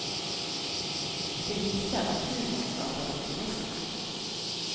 Det viser at humor skaper optimisme.